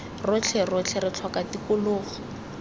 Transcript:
rotlhe rotlhe re tlhoka tikologo